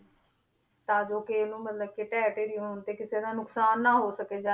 ਤਾਂ ਜੋ ਕਿ ਇਹਨੂੰ ਮਤਲਬ ਕਿ ਢਹਿ ਢੇਰੀ ਹੋਣ ਤੇ ਕਿਸੇ ਦਾ ਨੁਕਸਾਨ ਨਾ ਹੋ ਸਕੇ ਜਾ~